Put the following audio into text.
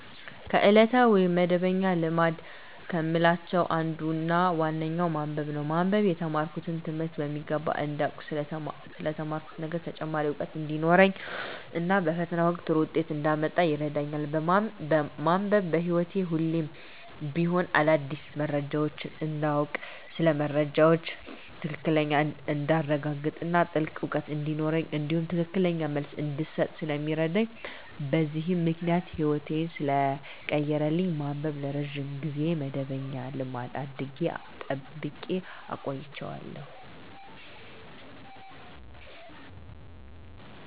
ከዕለታዊ ወይም መደበኛ ልማድ ከምላቸው አንዱና ዋነኛው ማንበብ ነው። ማንበብ የተማርኩትን ትምህርት በሚገባ እንዳውቅ ስለ ተማርኩት ነገር ተጨማሪ እውቀት እንዲኖረኝ እና በፈተና ወቅት ጥሩ ውጤት እንዳመጣ ይረዳኛል። ማንበብ በህይወቴ ሁሌም ቢሆን አዳዲስ መረጃዎችን እንዳውቅ ስለ መረጃዎች ትክክለኛነት እንዳረጋግጥ እና ጥልቅ እውቀት እንዲኖረኝ እንዲሁም ትክክለኛ መልስ እንድሰጥ ስለሚረዳኝ በዚህም ምክንያት ህይወቴን ሰለቀየረልኝ ማንበብን ለረጅም ጊዜ መደበኛ ልማድ አድርጌ ጠብቄ አቆይቸዋለሁ።